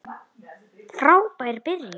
Frábær byrjun.